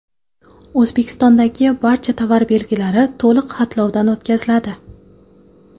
O‘zbekistondagi barcha tovar belgilari to‘liq xatlovdan o‘tkaziladi.